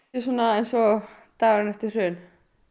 eins og dagurinn eftir hrun